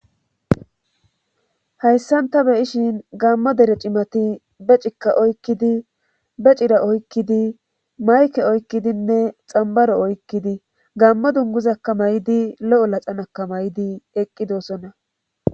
Hayssan ta beyishin gammo dere cimati be cikka oykkidi be cira oykkidi mayke oykkidinne xambaro oykkidi gammo dunguzakka may7di lo7o laxanakka may7di eqqidoosonna